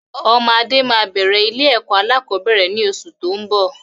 Ọmọ Adé máa bẹ̀rẹ̀ ilé ẹ̀kọ́ alakọ̀bẹ́ẹ́rẹ̀ ni oṣù tóun bọ̀.